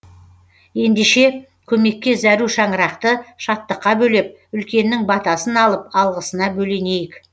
ендеше көмекке зәру шаңырақты шаттыққа бөлеп үлкеннің батасын алып алғысына бөленейік